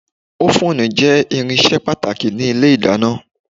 Ófùn jẹ́ irinṣẹ́ pàtàkì ní ilé ìdáná